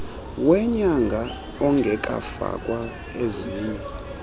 wenyanga ongekafakwa ezinye